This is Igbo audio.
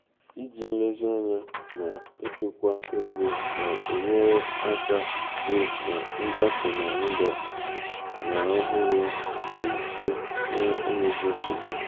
iji nlezianya na-echukwa ego na-enyere aka hụ na ngafe n'ụlọ ñ ọhụrụ ọhụrụ dị mfe na enweghị nsogbu.